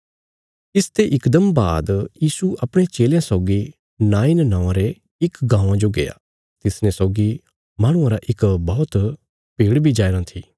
इसते इकदम बाद यीशु अपणे चेलयां सौगी नाईन नौआं रे इक गाँवां जो गया तिसने सौगी माहणुआं रा इक बौहत भीड़ बी जाईराँ था